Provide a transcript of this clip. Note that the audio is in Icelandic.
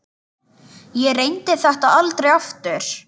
Ég reyndi þetta aldrei aftur.